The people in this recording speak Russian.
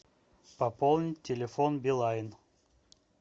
пополнить телефон билайн